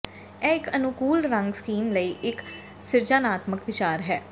ਇਹ ਇਕ ਅਨੁਕੂਲ ਰੰਗ ਸਕੀਮ ਲਈ ਇਕ ਸਿਰਜਣਾਤਮਕ ਵਿਚਾਰ ਹੈ